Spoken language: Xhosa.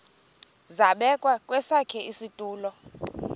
zabekwa kwesakhe isitulo